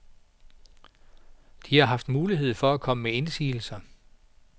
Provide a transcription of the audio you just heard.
De har haft mulighed for at komme med indsigelser.